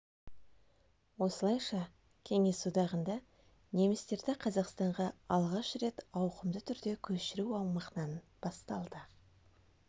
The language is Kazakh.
осылайша кеңес одағында немістерді қазақстанға алғаш рет ауқымды түрде көшіру аумағынан басталды